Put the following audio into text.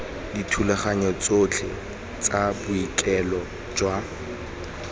dithulaganyo tsotlhe tsa boikuelo jwa